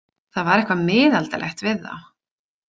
Það var eitthvað miðaldalegt við þá.